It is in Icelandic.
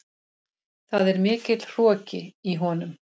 Það er mikill hroki í honum.